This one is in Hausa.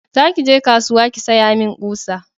za ki je kasuwa ki saya min ƙusa!